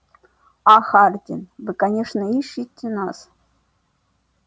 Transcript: а хардин вы конечно ищете нас